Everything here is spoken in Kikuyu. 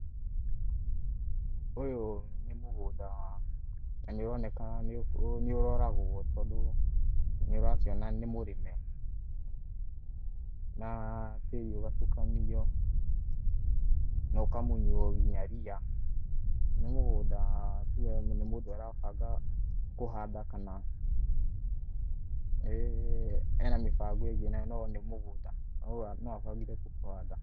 Ũyũ nĩ mũgũnda na nĩ ũroneka nĩ ũroragwo tondũ nĩ ũrakĩona nĩ mũrĩme na tĩri ũgatukanio na ũkamunywo nginya ria, nĩ mũgũnda tuge nĩ mũndũ ũrabanga kũhanda kana ena mĩbango ĩngĩ na no nĩ mũgũnda, no abangire tu kũhanda.